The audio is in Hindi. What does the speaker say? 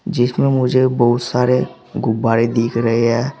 जिसमें मुझे बहुत सारे गुब्बारे दिख रहे हैं।